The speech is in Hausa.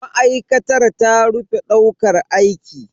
Ma'aikatar ta rufe daukar aiki.